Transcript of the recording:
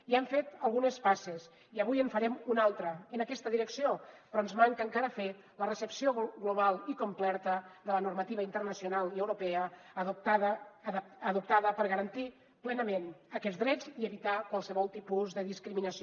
ja hem fet algunes passes i avui en farem una altra en aquesta direcció però ens manca encara fer la recepció global i completa de la normativa internacional i europea adoptada per garantir plenament aquests drets i evitar qualsevol tipus de discriminació